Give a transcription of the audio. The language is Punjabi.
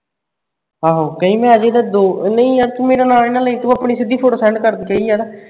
ਆਹੋ, ਕਹੀ ਮੈਂ ਅਜੇ ਦਾ ਦੋ ਓਹ ਨਈ ਯਾਰ ਤੂੰ ਮੇਰਾ ਨਾਂ ਨੀ ਨਾ ਲਈ ਤੂੰ ਆਪਣੀ ਸਿੱਧੀ photo ਕਰ ਦਈ ਯਾਰ